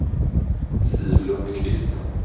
Siv Lundqvist